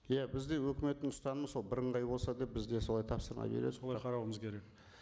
иә бізде өкіметтің ұстанымы сол бірыңғай болса деп біз де солай тапсырма солай қарауымыз керек